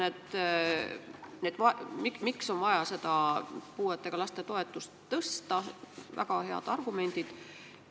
Selle kohta, miks on vaja puudega laste toetust tõsta, on väga head argumendid.